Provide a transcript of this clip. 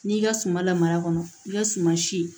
N'i ka suma la mara kɔnɔ i ka suma si